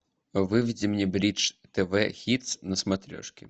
выведи мне бридж тв хитс на смотрешке